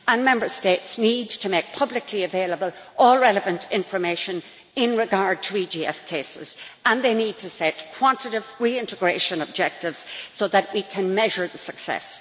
The Member States need to make publicly available all relevant information in regard to EGF cases, and they need to set quantitive reintegration objectives so that we can measure the success.